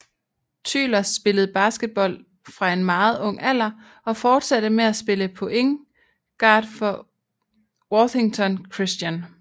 Tyler spillede basketball fra en meget ung alder og fortsatte med at spille point guard for Worthington Christian